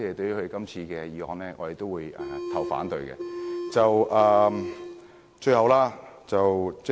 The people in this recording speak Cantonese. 因此，我們自由黨會反對這項修正案。